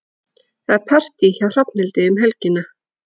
Það er partí hjá Hrafnhildi um helgina.